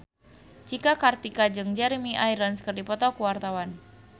Cika Kartika jeung Jeremy Irons keur dipoto ku wartawan